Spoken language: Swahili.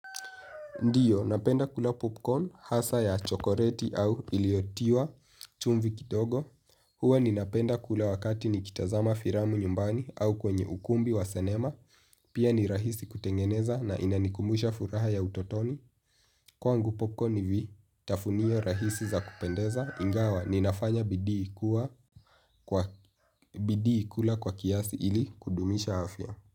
Ndiyo, napenda kula popcorn hasa ya chokoreti au iliotiwa chumvi kitogo. Huwa ni napenda kula wakati ni kitazama firamu nyumbani au kwenye ukumbi wa senema. Pia ni rahisi kutengeneza na inanikumusha furaha ya utotoni. Kwa ngu popcorn hivi, tafunio rahisi za kupendeza. Ingawa, ninafanya bidii ikula kwa kiasi ili kudumisha hafya.